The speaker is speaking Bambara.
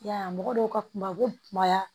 Ya mɔgɔ dɔw ka kuma u bɛ kumaya